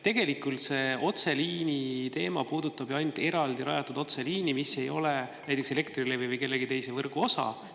Tegelikult see otseliini teema puudutab ju ainult eraldi rajatud otseliini, mis ei ole näiteks Elektrilevi või kellegi teise võrgu osa.